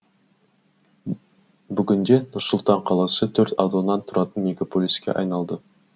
бүгінде нұр сұлтан қаласы төрт ауданнан тұратын мегаполиске айналды